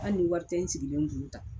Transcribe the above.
Hali ni wari tɛ n sigilen kun tan